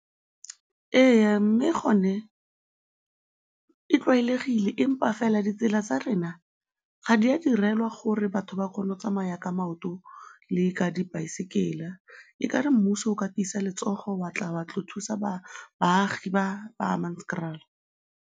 Ee, mme gone e tlwaelegile empa fela ditsela tsa rena ga di a direlwa gore batho ba kgone go tsamaya ka maoto le ka dibaesekela, e ka re mmuso o ka tiisa letsogo wa tla wa tlo thusa baagi ba Hammanskraal.